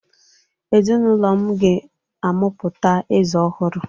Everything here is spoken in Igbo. Ezinụlọ m ga-amụpụta eze ọhụrụ